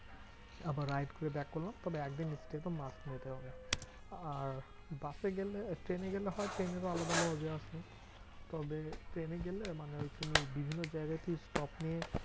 আবার ride করে back করলাম। তবে একদিন stay তো must নিতে হবে। আর বাসে গেলে ট্রেনে গেলে হয়, ট্রেনেরও আলাদা মজা আছে। তবে ট্রেনে গেলে মানে ওই তুমি বিভিন্ন জায়গাতে stop নিয়ে